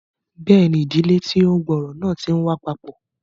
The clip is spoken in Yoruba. Bẹẹni, ìdílé tí o gb'ọrọ náà ti n wá papọ